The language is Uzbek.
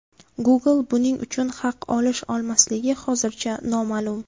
Google buning uchun haq olish-olmasligi hozircha noma’lum.